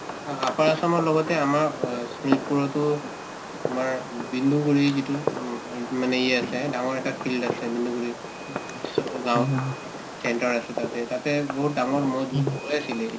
অ, upper assam ৰ লগতে আমাৰ অ শোণিতপুৰতো তোমাৰ বিন্দুগুৰি যিটো উম মানে ইয়ে আছে ডাঙৰ এটা field আছে বিন্দুগুৰি উব ওচৰৰ গাঁৱত center আছে তাতে তাতে বহুত ডাঙৰ মহৰ যুঁজ হৈ আছিলে